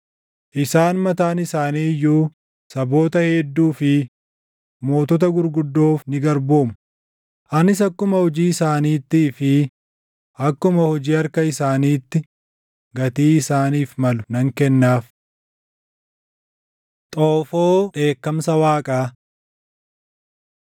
Isaan mataan isaanii iyyuu saboota hedduu fi mootota gurguddoof ni garboomu; anis akkuma hojii isaaniittii fi akkuma hojii harka isaaniitti gatii isaaniif malu nan kennaaf.” Xoofoo Dheekkamsa Waaqaa